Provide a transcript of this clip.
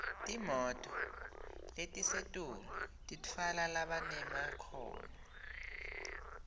timoto letisetulu titfwala labanemakhono